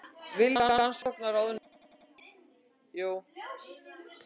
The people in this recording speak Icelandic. Vilja rannsókn á ráðuneytum